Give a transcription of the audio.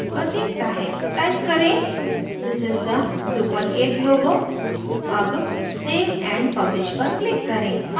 type करें this is the drupal 8 logo अब save and publish पर click करें